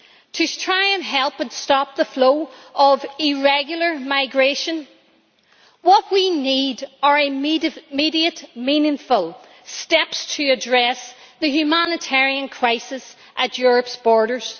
To try and help to stop the flow of irregular migration, what we need are immediate, meaningful steps to address the humanitarian crisis at Europe's borders.